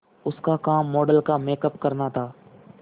उसका काम मॉडल का मेकअप करना था